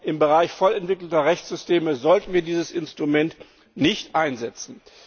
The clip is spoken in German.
Im Bereich voll entwickelter Rechtssysteme sollten wir also dieses Instrument nicht einsetzen.